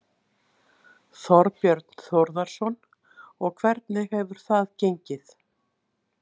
Þorbjörn Þórðarson: Og hvernig hefur það gengið?